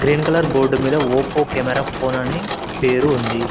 Green colour board మీద Oppo camera phone అని పేరు ఉంది.